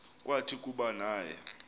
kwathi kuba naye